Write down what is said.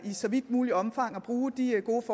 så vidt muligt omfang at bruge de gode